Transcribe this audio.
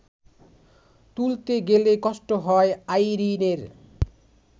তুলতে গেলে কষ্ট হয় আইরিনের